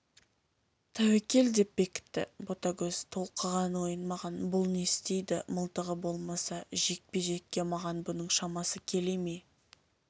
тәуекел деп бекітті ботагөз толқыған ойын маған бұл не істейді мылтығы болмаса жекпе-жекке маған бұның шамасы келе ме